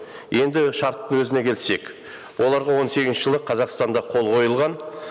енді шарттың өзіне келсек оларға он сегізінші жылы қазақстанда қол қойылған